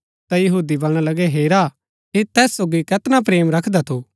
ता यहूदी बलणा लगै हेरा ऐह तैस सोगी कैतना प्रेम रखदा थू